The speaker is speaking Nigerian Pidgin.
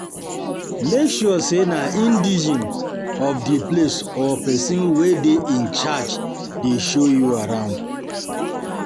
Make sure say na indegene of di place or persin wey de in charge de show you arround